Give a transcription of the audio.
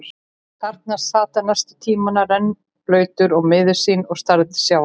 Þar sat hann næstu tímana, rennblautur og miður sín og starði til sjávar.